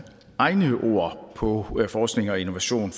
egne ord på forskning og innovation